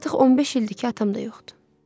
Artıq 15 ildir ki, atam da yoxdur.